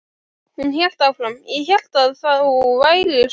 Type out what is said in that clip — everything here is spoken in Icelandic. Hún hélt áfram: Ég hélt að þú værir svangur.